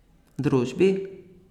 Družbi?